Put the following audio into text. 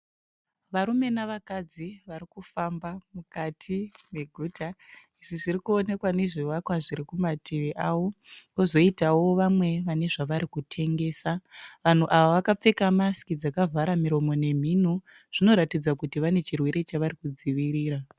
Varume navakadzi varikufamba mukati meguta, izvi zvirikuonekwa nezvivakwa zvirikumativi avo, kozoitawo vamwe vane zvavari kutengesa. Vanhu ava vakapfeka masiki dzakavhara miromo nemhuno, zvinoratidza kuti vane chirwere chavari kudzivirira